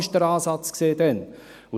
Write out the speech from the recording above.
Dies war der Ansatz damals.